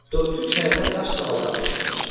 Dörd künc həyətə daş tavallar döşənmişdi.